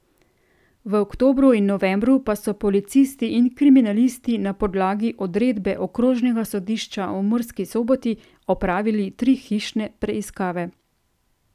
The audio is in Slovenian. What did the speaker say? V oktobru in novembru pa so policisti in kriminalisti na podlagi odredbe okrožnega sodišča v Murski Soboti opravili tri hišne preiskave.